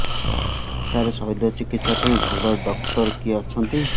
ସାର ଶଲ୍ୟଚିକିତ୍ସା ପାଇଁ ଭଲ ଡକ୍ଟର କିଏ ଅଛନ୍ତି